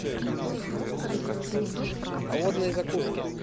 холодные закуски